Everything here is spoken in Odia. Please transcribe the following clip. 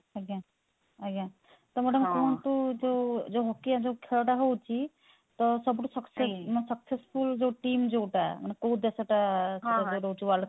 ଆଜ୍ଞା ଆଜ୍ଞା ତ madam କୁହନ୍ତୁ ଯଉ ଯଉ ଯଉ hockey ଖେଳ ଟା ହଉଛି ତ ସବୁ ଠୁ success ମାନେ successful ଯଉ team ଯଉଟା ମାନେ କଉ ଦେଶ ଟା ରହୁଛି world cup ପାଇଁ